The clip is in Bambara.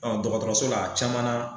Ɔ dɔgɔtɔrɔso la a caman nan